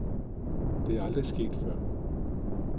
Det er aldrig sket før.